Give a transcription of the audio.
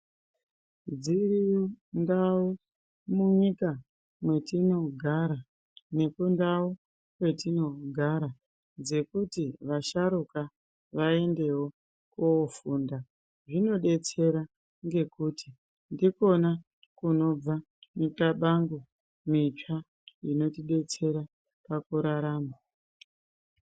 Dziriyo ndau munyika mwetinogara nekundau kwetinogara dzekuti vasharuka vaendewo koofunda , zvinodetsera ngekuti ndikona kunobva mixabango mitsva inotidetsera pakurarama